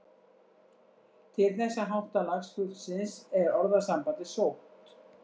Til þessa háttalags fuglsins er orðasambandið sótt.